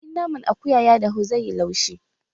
In naman akuya ya dahu zai yi laushi